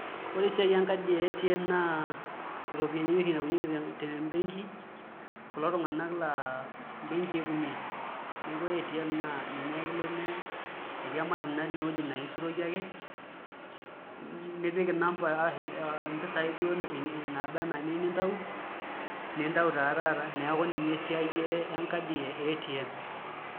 Ore esiai encardi e ATM naa iropiyiani oshi itaunyieki te mbenki kulo tung'anak laa mbenkii itumiaa, neeku ATM ninye ake ilo etii emashini natii inewueji naa aisuroki ake nipik namba ashu mpisaai duo naaba enaa iniyieu nintau nintau taa taata neeku ninye esiai encardi e ATM.